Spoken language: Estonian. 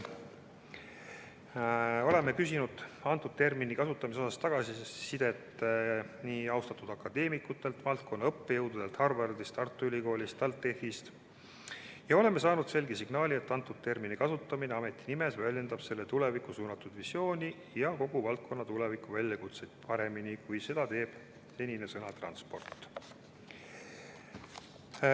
Oleme küsinud selle termini kasutamise kohta tagasisidet nii austatud akadeemikutelt, valdkonna õppejõududelt Harvardis, Tartu Ülikoolis, TalTechis ja oleme saanud selge signaali, et selle termini kasutamine ameti nimes väljendab selle tulevikku suunatud visiooni ja kogu valdkonna tulevikuväljakutseid paremini, kui seda teeks senine sõna "transport".